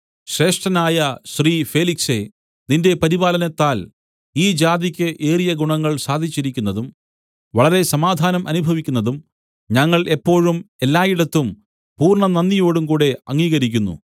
ശ്രേഷ്ഠനായ ശ്രീ ഫേലിക്സേ നിന്റെ പരിപാലനത്താൽ ഈ ജാതിയ്ക്ക് ഏറിയ ഗുണങ്ങൾ സാധിച്ചിരിക്കുന്നതും വളരെ സമാധാനം അനുഭവിക്കുന്നതും ഞങ്ങൾ എപ്പോഴും എല്ലായിടത്തും പൂർണ്ണനന്ദിയോടുംകൂടെ അംഗീകരിക്കുന്നു